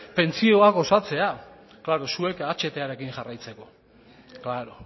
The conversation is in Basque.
pentsioak osatzea klaro zuek ahtarekin jarraitzeko klaro